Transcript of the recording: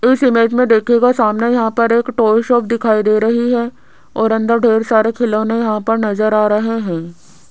इस इमेज मे देखियेगा सामने यहां पर एक टॉय शॉप दिखाई दे रही है और अंदर ढेर सारे खिलौने यहां पर नज़र आ रहे हैं।